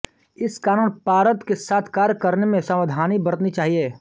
इस कारण पारद के साथ कार्य करने में सावधानी बरतनी चाहिए